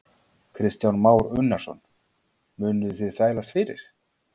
Kristján Már Unnarsson: Munuð þið þvælast fyrir?